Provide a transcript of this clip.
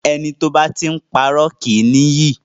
Ẹni tí ó bá ti ń pá irọ́ kì í ní iyì.